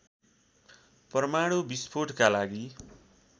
परमाणु विस्फोटका लागि